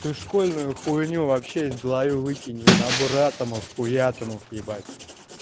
школьная хуйня вообще из головы выкинь набор атомов хуятомов атомов ебать